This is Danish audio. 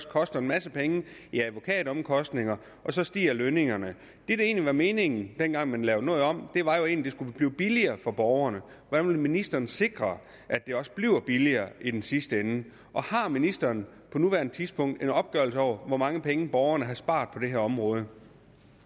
koster en masse penge i advokatomkostninger og så stiger lønningerne det egentlig var meningen dengang man lavede noget om var jo at det skulle blive billigere for borgerne hvordan vil ministeren sikre at det også bliver billigere i den sidste ende og har ministeren på nuværende tidspunkt en opgørelse over hvor mange penge borgerne har sparet på det her område